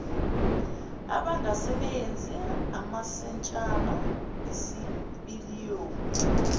abangasebenzi amasentshana isipiliyoni